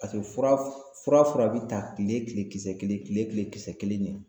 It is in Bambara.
Paseke fura fura fura fura bi ta kile kile kisɛ kelen kile kile kisɛ kelen ɲe